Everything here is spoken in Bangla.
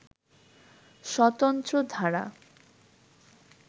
স্বতন্ত্র ধারা